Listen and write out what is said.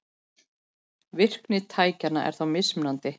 Virkni tækjanna er þó mjög mismunandi.